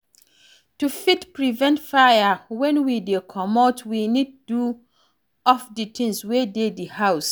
To fit prevent fire, when we dey comot, we need to off di things wey dey di house